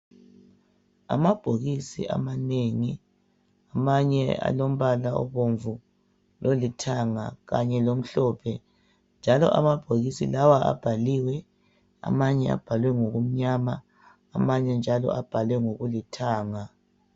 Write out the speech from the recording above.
Amabhokisi amanengi, amanye alombala obomvu lolithanga kanje lomhlophe njalo amabhokisi lawa abhaliwe, amanye abhalwe ngokumnyama, amanye abhalwe ngokulithanga.